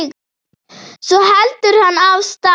Svo heldur hann af stað.